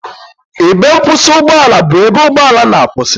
Ebe nkwụsị ụgbọ ala bụ ebe ụgbọ ala na-akwụsị